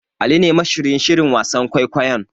Ali ne mashiryin shirin wasan kwaikwayon.